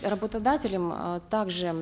работодателем э также